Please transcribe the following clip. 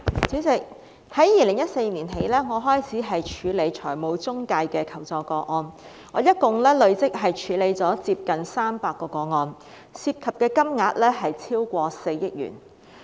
主席，我從2014年起開始處理財務中介的求助個案，累積處理了接近300宗，涉及金額超過4億元。